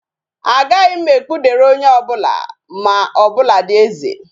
Agaghi m ekpudere onye obula ma, o buladi eze.